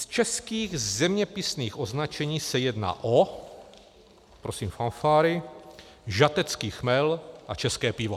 Z českých zeměpisných označení se jedná - prosím fanfáry - o žatecký chmel a české pivo.